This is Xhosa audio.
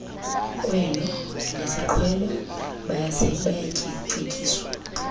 kwelo lesiqhelo bayacetyiswa